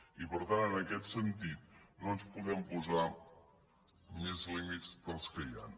i per tant en aquest sentit no ens podem posar més lí mits que els que hi han